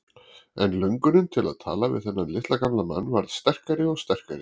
En löngunin til að tala við þennan litla gamla mann varð sterkari og sterkari.